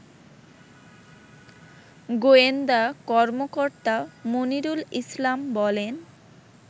গোয়েন্দা কর্মকর্তা মনিরুল ইসলাম বলেন